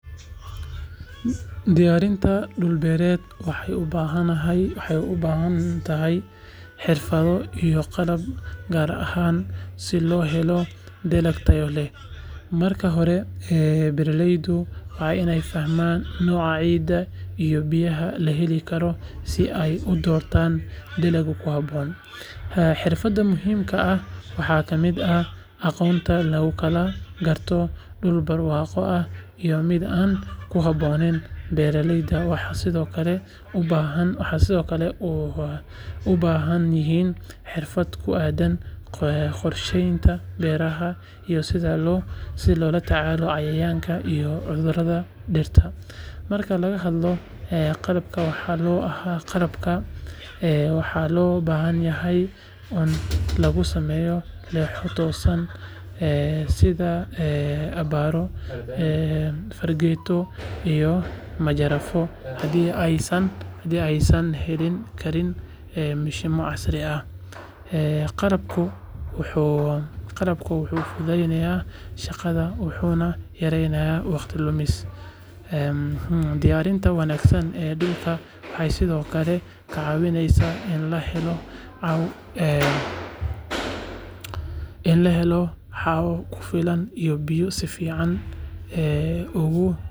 Diyaarinta dhul beereed waxay u baahan tahay xirfado iyo qalab gaar ah si loo helo dalag tayo leh. Marka hore, beeraleydu waa inay fahmaan nooca ciidda iyo biyaha la heli karo si ay u doortaan dalagga ku habboon. Xirfadaha muhiimka ah waxaa ka mid ah aqoonta lagu kala garto dhul barwaaqo ah iyo mid aan ku habboonayn beeraleyda waxay sidoo kale u baahan yihiin xirfad ku aaddan qorsheynta beeraha iyo sida loola tacaalo cayayaanka iyo cudurrada dhirta. Marka laga hadlayo qalabka waxaa loo baahan yahay ul lagu sameeyo leexo toosan ama sida abbaaro, fargeeto, iyo majarafad haddii aysan heli karin mishiinno casri ah . Qalabkani wuxuu fududeeyaa shaqada wuxuuna yareeyaa waqti lumis. Diyaarinta wanaagsan ee dhulku waxay sidoo kale ka caawisaa in la helo hawo ku filan iyo biyo si fiican ugu.